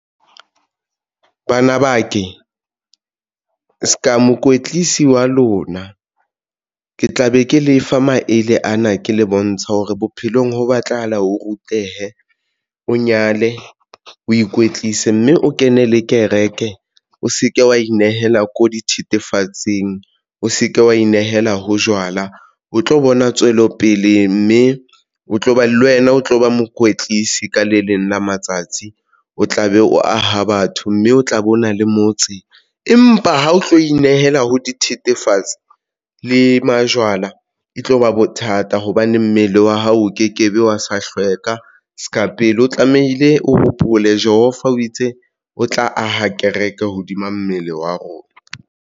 Bana ba ke se ka mokwetlisi wa lona ke tla be ke lefa maele ana le le bontshe hore bophelong ho batlahala, o rutehe, o nyale o ikwetlise mme o kene le kereke. O se ke wa inehela ko dithethefatsing, o se ke wa inehela ho jwala, o tlo bona tswelopele mme o tlo ba le wena o tlo ba mokwetlisi. Ka le leng la matsatsi o tla be o aha batho mme o tla be o na le motseng. Empa ha o tlo inehela ho dithethefatsi le majwala e tloba bothata hobane mmele wa hao o kekebe wa sa hlweka se ka pele, o tlamehile o hopole Jehova o itse o tla aha kereke hodima mmele wa rona.